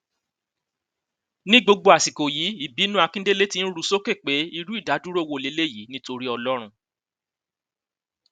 ní gbogbo àsìkò yìí ìbínú akíndélé ti ń ru sókè pé irú ìdádúró wo leléyìí nítorí ọlọrun